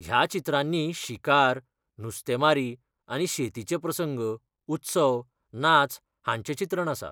ह्या चित्रांनी शिकार, नुस्तेंमारी आनी शेतीचे प्रसंग, उत्सव, नाच हांचें चित्रण आसा.